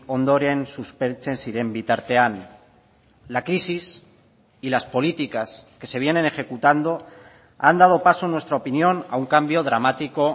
ondoren suspertzen ziren bitartean la crisis y las políticas que se vienen ejecutando han dado paso en nuestra opinión a un cambio dramático